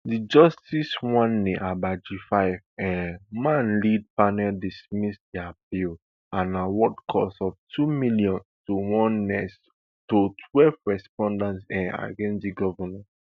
di justice uwani abbaaji five um man led panel dismiss di appeal and award cost of two million to onest to twelveth respondents um against di govnor